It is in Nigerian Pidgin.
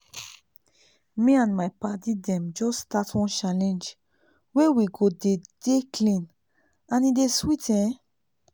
me and my padi dem just start one challenge wey we go dey dey clean and e dey sweet ehn